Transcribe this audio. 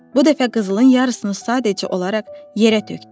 Bu dəfə qızılın yarısını sadəcə olaraq yerə tökdü.